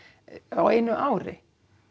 á einu ári